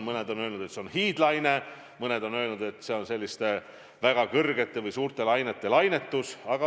Mõned on öelnud, et see on hiidlaine, mõned on öelnud, et see on selliste väga kõrgete või suurte lainete lainetus.